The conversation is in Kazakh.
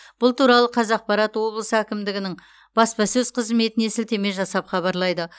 бұл туралы қазақпарат облыс әкімдігінің баспасөз қызметіне сілтеме жасап хабарлайды